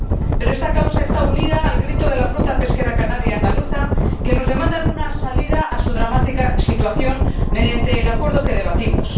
Pero esta causa está unida al grito de las flotas pesqueras canaria y andaluza, que nos demandan una salida a su dramática situación mediante el Acuerdo que debatimos.